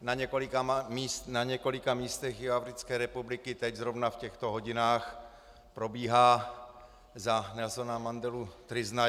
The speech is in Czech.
Na několika místech Jihoafrické republiky teď zrovna v těchto hodinách probíhá za Nelsona Mandelu tryzna.